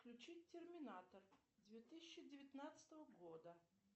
включить терминатор две тысячи девятнадцатого года